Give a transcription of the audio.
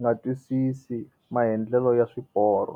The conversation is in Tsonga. nga twisisi maendlelo ya swiporo.